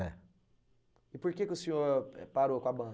É. E por que o senhor parou com a